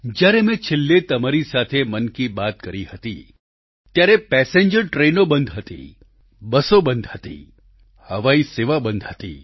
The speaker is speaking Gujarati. જ્યારે મેં છેલ્લે તમારી સાથે મન કી બાત કરી હતી ત્યારે પેસેન્જર ટ્રેનો બંધ હતી બસો બંધ હતી હવાઈ સેવા બંધ હતી